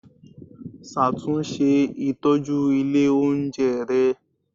Ṣàtúnṣe ìtọ́jú ilé oúnjẹ rẹ